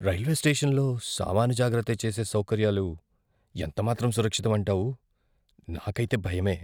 Railway స్టేషన్లో సామాను జాగ్రత్త చేసే సౌకర్యాలు ఎంతమాత్రం సురక్షితం అంటావు? నాకైతే భయమే!